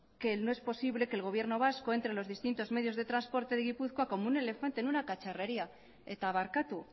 que no es posible que el gobierno vasco entre los distintos medios de transporte de gipuzkoa como un elefante en una cacharrería eta barkatu